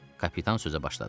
Kapitan sözə başladı.